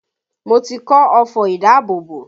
Mo ti kọ́ ọfọ̀ ìdábòbò